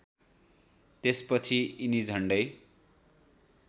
त्यसपछि यिनी झण्डै